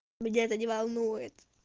меня это не волнует